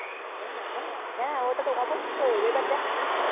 হ্যা হ্যা হ্যা ওটা তো অবসসই আবার দেখ তুই